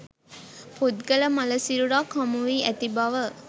පුද්ගල මළ සිරුරක් හමුවී ඇති බව